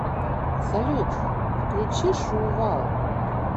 салют включи шувал